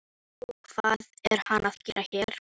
Og hvað er hann að gera hér?